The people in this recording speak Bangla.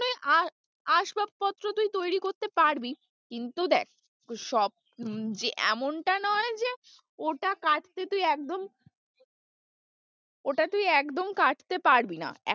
আসবাবপত্র তুই তৈরী করতে পারবি কিন্তু দেখ এমনটা নয় যে ওটা কাটতে তুই একদম ওটা তুই একদম কাটতে পারবি না।